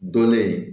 Dɔnnen